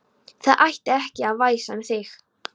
Það ætti ekki að væsa um þig.